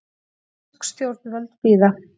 Bresk stjórnvöld bíða